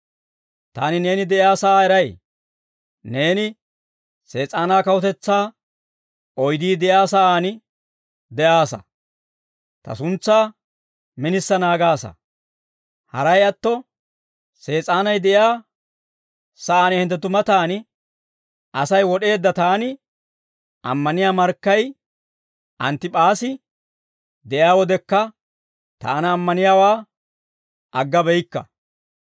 ‹Taani neeni de'iyaa sa'aa eray. Neeni Sees'aanaa kawutetsaa oydii de'iyaa sa'aan de'aassa; ta suntsaa minisa naagaasa. Haray atto, Sees'aanay de'iyaa sa'aan hinttenttu matan Asay wod'eedda taani ammaniyaa markkay Anttip'aasi de'iyaa wodekka taana ammaniyaawaa agga beyikka.